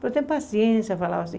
Mas tem paciência, falava assim.